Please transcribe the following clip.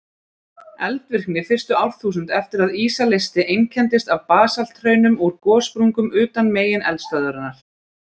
Eldvirkni fyrstu árþúsund eftir að ísa leysti einkenndist af basalthraunum úr gossprungum utan megineldstöðvarinnar.